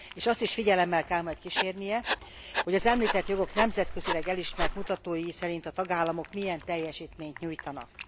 Azt is figyelemmel kell majd kísérnie, hogy az említett jogok nemzetközileg elismert mutatói szerint a tagállamok milyen teljesítményt nyújtanak.